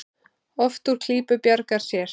Oft úr klípu bjargar sér.